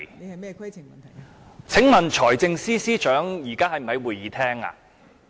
代理主席，請問財政司司長現時是否在會議廳內？